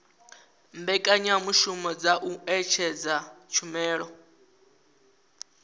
mbekanyamushumo dza u ṅetshedza tshumelo